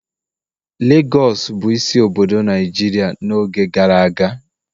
Legọs bụ isi obodo Naijiria n'oge gara aga